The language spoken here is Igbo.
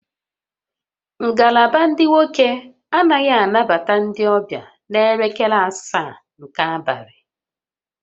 Ngalaba ndị nwoke anaghị anabata ndị ọbịa n'elekere asaa nke abalị